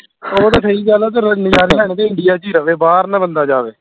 ਉਹ ਤੇ ਸਹੀ ਗੱਲ ਆ ਤੇਰਾ ਨਜਾਰੇ ਲੈਣੇ ਤੇ india ਚ ਹੀ ਰਵੇ ਬਾਹਰ ਨਾ ਬੰਦਾ ਜਾਵੇ